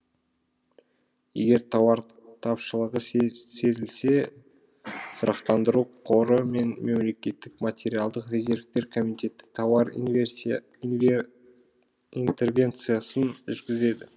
егер тауар тапшылығы сезілсе тұрақтандыру қоры мен мемлекеттік материалдық резервтер комитеті тауар интервенциясын жүргізеді